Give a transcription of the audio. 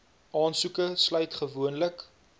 aansoeke sluit gewoonlik